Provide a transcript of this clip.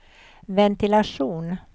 ventilation